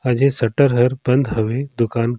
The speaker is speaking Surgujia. आज ये शटर हर बंद हवे दुकान--